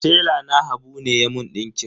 Tela na habu ne ya mun ɗinkin.